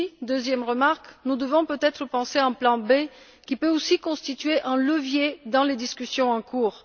Deuxième remarque, nous devrions peut être penser à un plan B qui pourrait aussi constituer un levier dans les discussions en cours.